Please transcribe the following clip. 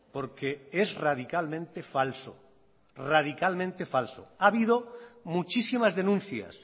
porque es radicalmente falso radicalmente falso ha habido muchísimas denuncias